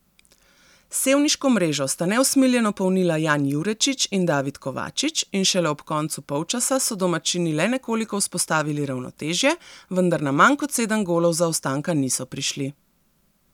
Sevniško mrežo sta neusmiljeno polnila Jan Jurečič in David Kovačič in šele ob koncu polčasa so domačini le nekoliko vzpostavili ravnotežje, vendar na manj kot sedem golov zaostanka niso prišli.